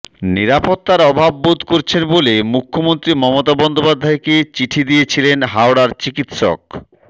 নিরাপত্তার অভাব বোধ করছেন বলে মুখ্যমন্ত্রী মমতা বন্দ্যোপাধ্যায়কে চিঠি দিয়েছিলেন হাওড়ার চিকিৎসক